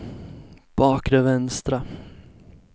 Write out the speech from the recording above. bakre vänstra